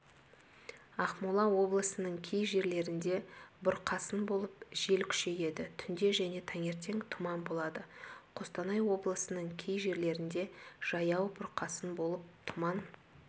ақмола облысының кей жерлерінде бұрқасын болып жел күшейеді түнде және таңертең тұман болады қостанай облысының кей жерлерінде жаяу бұрқасын болып тұман